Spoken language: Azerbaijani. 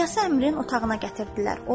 İlyası Əmirin otağına gətirdilər.